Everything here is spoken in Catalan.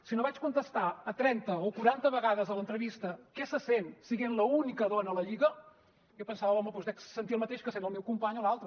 si no vaig contestar trenta o quaranta vegades a l’entrevista què se sent sent l’única dona a la lliga jo pensava home doncs dec sentir el mateix que sent el meu company o l’altre